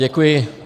Děkuji.